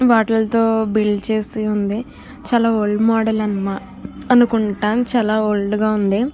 వాటిలతో build చేసి ఉంది చాలా ఓల్డ్ మాడెల్ అనుకుంటా చల ఓల్డ్ గా ఉంది.